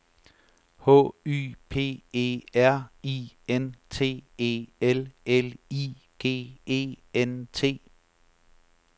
H Y P E R I N T E L L I G E N T